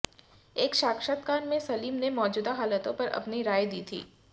एक साक्षात्कार में सलीम ने मौजूदा हालातों पर अपनी राय दी थी